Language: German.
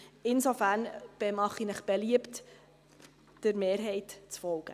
Insofern mache ich Ihnen beliebt, der Mehrheit zu folgen.